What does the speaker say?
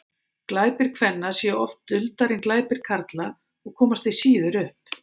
glæpir kvenna séu oft duldari en glæpir karla og komast því síður upp